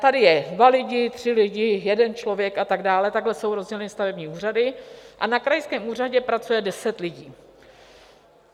Tady jsou dva lidé, tři lidé, jeden člověk a tak dále, takhle jsou rozděleny stavební úřady a na krajském úřadě pracuje deset lidí.